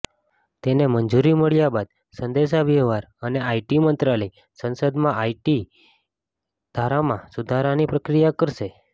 તેને મંજૂરી મળ્યા બાદ સંદેશાવ્યવહાર અને આઇટી મંત્રાલય સંસદમાં આઇટી ધારામાં સુધારાની પ્રક્રિયા કરશે